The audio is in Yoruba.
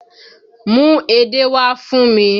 Mú edé wá fún mi!